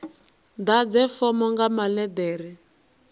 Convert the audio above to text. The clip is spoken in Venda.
ḓadze fomo nga maḽe ḓere